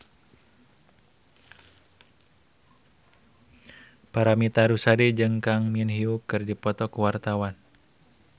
Paramitha Rusady jeung Kang Min Hyuk keur dipoto ku wartawan